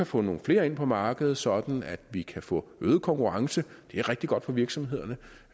få nogle flere ind på markedet sådan at vi kan få øget konkurrence det er rigtig godt for virksomhederne